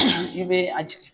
i bɛ a jigin.